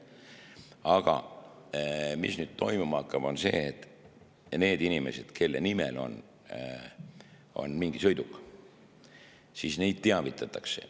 Aga mis nüüd toimuma hakkab, on see, et neid inimesi, kelle nimel on mingi sõiduk, teavitatakse.